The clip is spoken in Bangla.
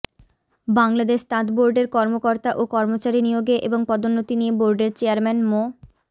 বাংলাদেশ তাঁত বোর্ডের কর্মকর্তা ও কর্মচারী নিয়োগে এবং পদোন্নতি নিয়ে বোর্ডের চেয়ারম্যান মো